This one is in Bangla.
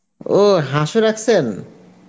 ও হাঁস ও রাখসেন?